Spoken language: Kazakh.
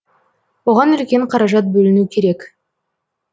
оған үлкен қаражат бөліну керек